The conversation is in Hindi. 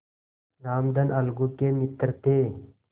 रामधन अलगू के मित्र थे